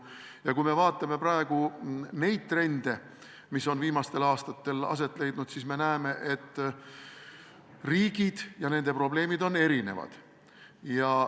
Ja kui me vaatame trende, mis on viimastel aastatel võimust võtnud, siis me näeme, et riigid ja nende probleemid on erinevad.